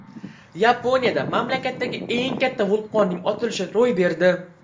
Yaponiyada mamlakatdagi eng katta vulqonning otilishi ro‘y berdi.